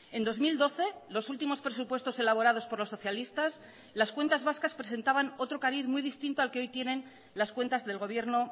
en dos mil doce los últimos presupuestos elaborados por los socialistas las cuentas vascas presentaban otro cariz muy distinto al que hoy tienen las cuentas del gobierno